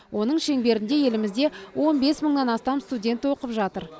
оның шеңберінде елімізде он бес мыңнан астам студент оқып жатыр